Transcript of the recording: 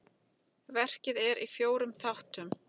Verkið er í fjórum þáttum.